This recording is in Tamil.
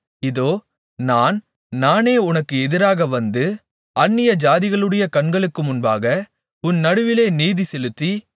இதோ நான் நானே உனக்கு எதிராக வந்து அந்நியஜாதிகளுடைய கண்களுக்கு முன்பாக உன் நடுவிலே நீதி செலுத்தி